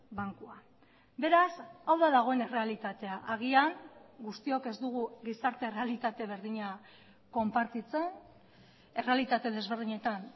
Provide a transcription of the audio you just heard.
bankua beraz hau da dagoen errealitatea agian guztiok ez dugu gizarte errealitate berdina konpartitzen errealitate desberdinetan